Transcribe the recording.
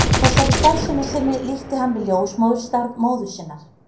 Þessari starfsemi sinni líkti hann við ljósmóðurstarf móður sinnar.